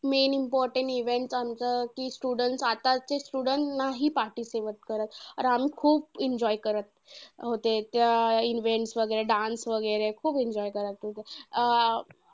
Main important event आमचं कि students आताचे students नाही participate करत. अरे आम्ही खूप enjoy करत होते. त्या events वगैरे dance वगैरे खूप enjoy करत होते. अं